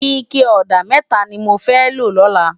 Iké òdá mètá ni mó fè ló lòlá